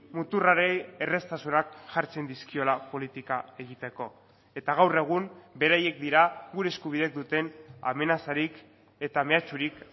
muturrari erraztasunak jartzen dizkiola politika egiteko eta gaur egun beraiek dira gure eskubideek duten amenazarik eta mehatxurik